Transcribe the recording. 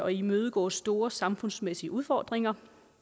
imødegå store samfundsmæssige udfordringer